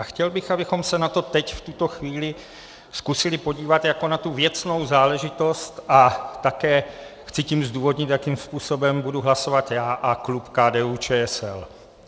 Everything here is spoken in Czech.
A chtěl bych, abychom se na to teď v tuto chvíli zkusili podívat jako na tu věcnou záležitost, a také chci tím zdůvodnit, jakým způsobem budu hlasovat já a klub KDU-ČSL.